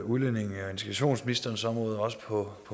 udlændinge og integrationsministerens område men også på